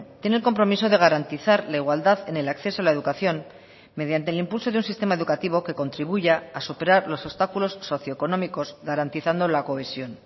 tiene el compromiso de garantizar la igualdad en el acceso a la educación mediante el impulso de un sistema educativo que contribuya a superar los obstáculos socioeconómicos garantizando la cohesión